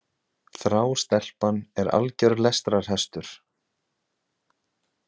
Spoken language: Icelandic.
Þrá Stelpan er alger lestrarhestur.